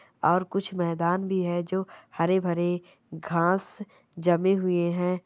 और कुछ मैदान भी है जो हरे-भरे घास जमे हुए है।